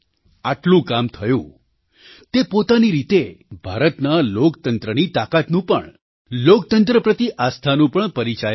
આટલું કામ થયું તે પોતાની રીતે ભારતના લોકતંત્રની તાકાતનું પણ લોકતંત્ર પ્રતિ આસ્થાનું પણ પરિચાયક છે